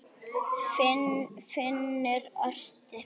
Finnur orti.